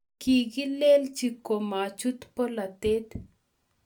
Kikilenji komachut bolatet